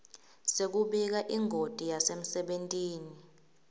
sekubika ingoti yasemsebentini